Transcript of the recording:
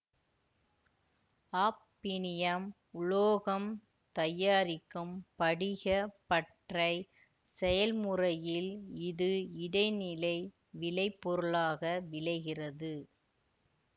hafnium உலோகம் தயாரிக்கும் படிகப் பட்றை செயல்முறையில் இது இடைநிலை விளைபொருளாக விளைகிறது